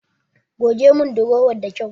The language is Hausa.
Goge mun durowan da kyau.